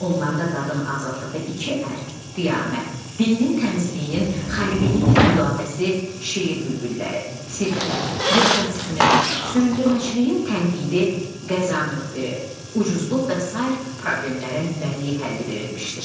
Onlarda qadın azadlığı iki ər, qiyamət, dilinin təmizliyinin, xəlqiliyinin müdafiəsi, Şeir bülbülləri, Sirkə, bürokratizmin, süründürməçiliyin tənqidi, Qazı müxbiri, ucuzluq və sair problemlərin bədii həlli verilmişdir.